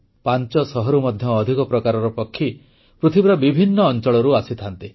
ପାଞ୍ଚଶହରୁ ମଧ୍ୟ ଅଧିକ ପ୍ରକାରର ପକ୍ଷୀ ପୃଥିବୀର ବିଭିନ୍ନ ଅଂଚଳରୁ ଆସିଥାନ୍ତି